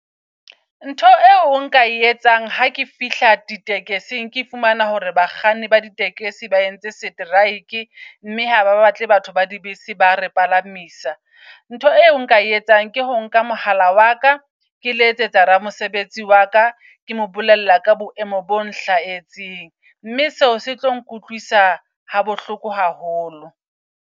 Ntho eo o nka e etsang ha ke fihla ditekesing ke fumana hore bakganni ba di tekesi ba entse seteraeke mme haba batle batho ba di bese ba re palamisa. Ntho e eo nka e etsang ke ho nka mohala wa ka ke letsetsa ramosebetsi waka. Ke mo bolella ka boemo bo nhlahetseng. Mme seo setlo nkutlwisa ha bohloko haholo.